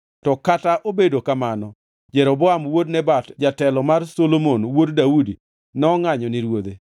To kata obedo kamano Jeroboam wuod Nebat jatelo mar Solomon wuod Daudi nongʼanyo ni ruodhe.